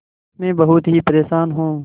मैं बहुत ही परेशान हूँ